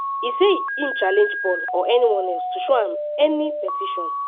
e say im challenge paul or anyone else to show any petition